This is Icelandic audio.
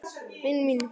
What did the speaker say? Vini mínum!